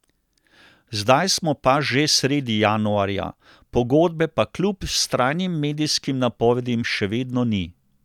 Zdaj smo pa že sredi januarja, pogodbe pa kljub vztrajnim medijskim napovedim še vedno ni.